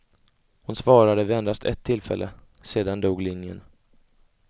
Hon svarade vid endast ett tillfälle, sedan dog linjen.